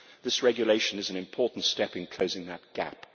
This regulation is an important step in closing that gap.